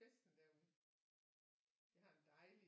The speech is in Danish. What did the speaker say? Festen derude det har en dejlig